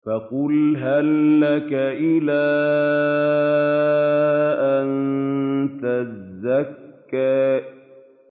فَقُلْ هَل لَّكَ إِلَىٰ أَن تَزَكَّىٰ